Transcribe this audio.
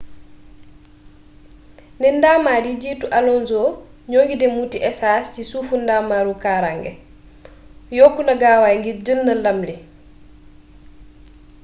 ne ndamar yi jiitu alonso ñoo ngi dem wuuti esaas si sufu ndamaru kaaraange yokku na gaawaay ngir jël ndam li